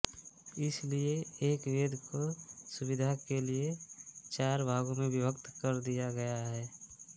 इसलिए एक वेद को सुविधा के लिए चार भागों में विभक्त कर दिया गया है